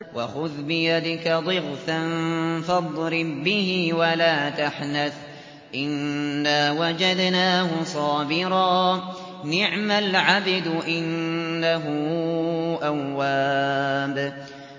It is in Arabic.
وَخُذْ بِيَدِكَ ضِغْثًا فَاضْرِب بِّهِ وَلَا تَحْنَثْ ۗ إِنَّا وَجَدْنَاهُ صَابِرًا ۚ نِّعْمَ الْعَبْدُ ۖ إِنَّهُ أَوَّابٌ